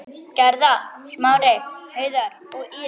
Gerða, Smári, Heiðar og Íris.